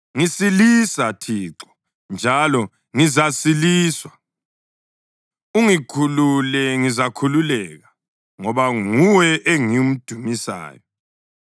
Ngisilisa, Thixo, njalo ngizasiliswa; ungikhulule, ngizakhululeka, ngoba nguwe engimdumisayo.